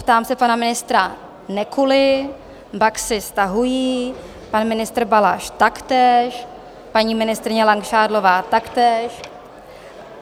Ptám se pana ministra Nekuly, Baxy - stahují, pan ministr Balaš taktéž, paní ministryně Langšádlová taktéž.